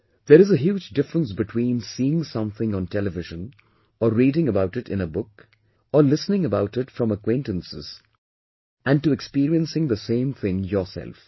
There is huge difference between to sometime to see something on television or reading about it in the book or listening about it from acquaintances and to experiencing the same thing yourself